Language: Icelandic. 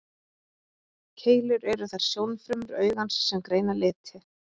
Keilur eru þær sjónfrumur augans sem greina liti.